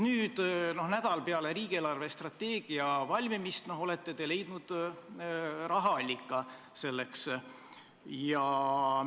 Nüüd, nädal peale riigi eelarvestrateegia valmimist, olete te selleks siiski rahaallika leidnud.